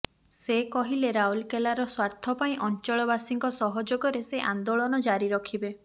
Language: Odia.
ସେ କହିଲେ ରାଉରକେଲାର ସ୍ୱାର୍ଥ ପାଇଁ ଅଞ୍ଚଳବାସୀଙ୍କ ସହଯୋଗରେ ସେ ଆନ୍ଦୋଳନ ଜାରି ରଖିବେ